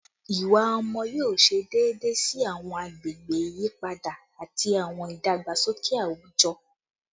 Iwa ọmọ yoo ṣe deede si awọn agbegbe iyipada ati awọn idagbasoke awujọ